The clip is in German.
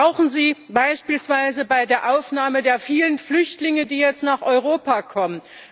Wir brauchen sie beispielsweise bei der Aufnahme der vielen Flüchtlinge, die jetzt nach Europa kommen.